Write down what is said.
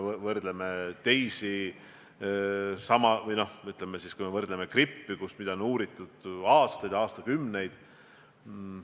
Võrdleme seda näiteks gripiga, mida on uuritud aastakümneid.